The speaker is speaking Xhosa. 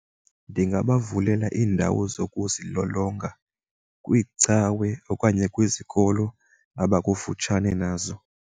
Ndinga bavulela iindawo zokuzilolonga kwiicawe okanye kwizikolo abakufutshane nazo.